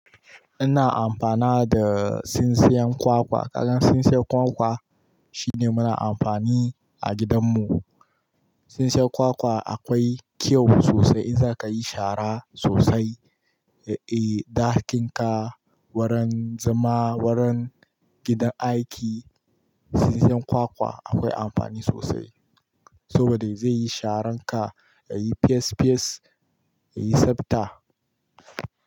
Ina amfana da tsintsiyan kwakwa. Kagan tsintsiyan kwakwa shine muna amfani a gidan mu. Tsintsiyan kwakwa akwai kyau sosai in za ka yi shara sosai, eh, ɗakinka, wurin zama, wurin gidan aiki. Tsintsiyan kwakwa akwai amfani sosai. Saboda zai yi sharan ka, ya yi fiyes fiyes, ya yi sabta.